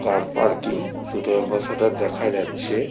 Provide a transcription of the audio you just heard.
কার parking দুটো Ambassador দেখা যাচ্ছে।